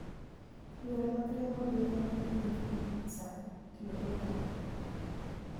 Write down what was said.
Yore mag riembo ndiga ma yiengni e pi sani itiyogo e taonde moko.